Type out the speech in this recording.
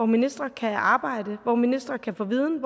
ministre kan arbejde i hvor ministre kan få viden